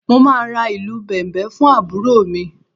Mo máa ra ìlù Bẹ̀m̀bẹ̀ fún àbúrò mi